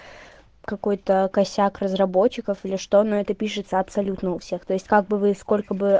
какой-то косяк разработчиков или что на это пишется абсолютно у всех то есть как бы вы скоро